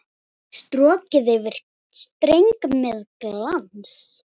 Strokið yfir streng með glans.